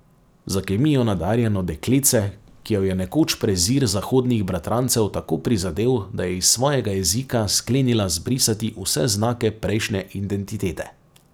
Za kemijo nadarjeno dekletce, ki jo je nekoč prezir zahodnih bratrancev tako prizadel, da je iz svojega jezika sklenila zbrisati vse znake prejšnje identitete.